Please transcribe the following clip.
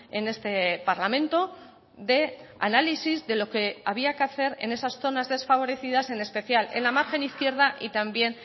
en este parlamento de análisis de lo que había que hacer en esas zonas desfavorecidas en especial en la margen izquierda y también